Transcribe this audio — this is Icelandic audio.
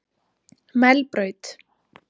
Melbraut